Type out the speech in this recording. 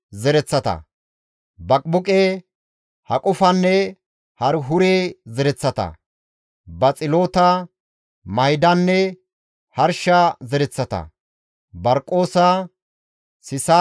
Xoossa Keeththa oosanchchata baggatinne Solomoone oosanchchata zereththa qooday issi bolla 392.